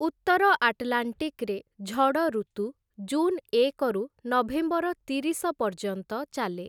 ଉତ୍ତର ଆଟ୍‌ଲାଣ୍ଟିକ୍‌ରେ ଝଡ଼ ଋତୁ ଜୁନ୍ ଏକରୁ ନଭେମ୍ବର ତିରିଶ ପର୍ଯ୍ୟନ୍ତ ଚାଲେ ।